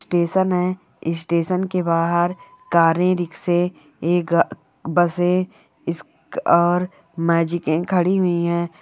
Station station के बाहर गाड़ी रिक्शे ये बसें इस- और मैजिक कैन खड़ी हुई हैं।